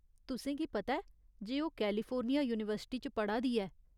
तुसेंगी पता ऐ जे ओह् कैलिफोर्निया यूनीवर्सिटी च पढ़ा दी ऐ।